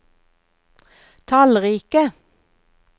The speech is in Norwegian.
tallrike